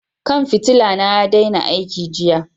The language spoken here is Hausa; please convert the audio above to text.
Kwan fitila na ya daina aiki jiya.